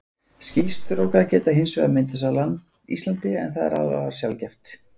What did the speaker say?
Skýstrókar geta hins vegar myndast á Íslandi, en það er afar sjaldgæft.